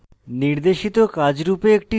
নির্দেশিত কাজ রূপে